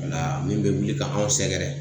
min bɛ wuli ka anw sɛgɛrɛ